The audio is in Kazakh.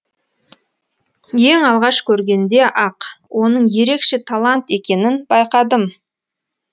ең алғаш көргенде ақ оның ерекше талант екенін байқадым